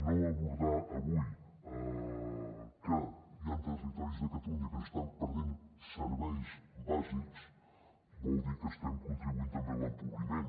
no abordar avui que hi han territoris de catalunya en què s’estan perdent serveis bàsics vol dir que estem contribuint també a l’empobriment